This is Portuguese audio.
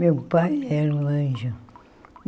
Meu pai era um anjo.